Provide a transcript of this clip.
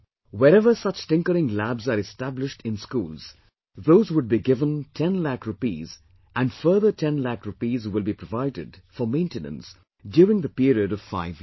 Wherever such Tinkering Labs are established in schools, those would be given 10 Lakh rupees and further 10 Lakh rupees will be provided for maintenance during the period of five years